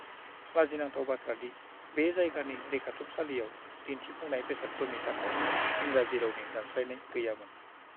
लाजिनांथाव बाथ्रा दि बे जायगानि रैखाथुमसालियाव दिन्थिफुंनाय बेसादफोरनि थाखाय इंराजि रावनि दानस्लायनाय गैयामोन।